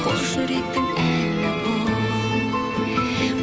қос жүректің әні бұл